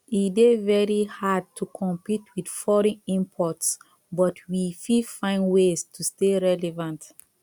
e dey very hard to compete with foreign imports but we fit find ways to stay relevant